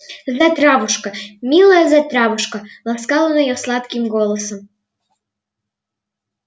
затравушка милая затравушка ласкал он её сладким голосом